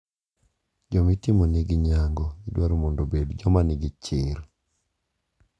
Joma itimonegi nyango idwaro mondo obed joma nigi chir.